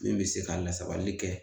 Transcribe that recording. Min be se ka lasabali kɛ.